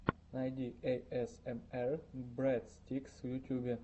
найди эйэсэмэр брэдстикс в ютюбе